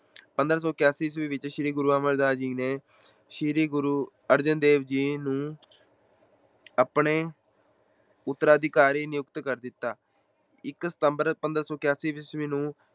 ਪੰਦਰਾਂ ਸੌ ਇਕਆਸੀ ਈਸਵੀ ਵਿੱਚ ਸ੍ਰੀ ਗੁਰੂ ਅਮਰਦਾਸ ਜੀ ਨੇ ਸ੍ਰੀ ਗੁਰੂ ਅਰਜਨ ਦੇਵ ਜੀ ਨੂੰ ਆਪਣੇ ਉੱਤਰਾਧਿਕਾਰੀ ਨਿਯੁਕਤ ਕਰ ਦਿੱਤਾ, ਇੱਕ ਸਤੰਬਰ ਪੰਦਰਾਂ ਸੌ ਇਕਆਸੀ ਈਸਵੀ ਨੂੰ